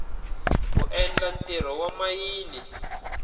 ku endla ntirho wa mayini